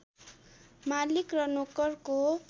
मालिक र नोकरको